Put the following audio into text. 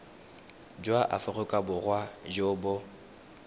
jwa aforika borwa jo bo